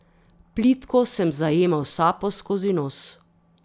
Plitko sem zajemal sapo skozi nos.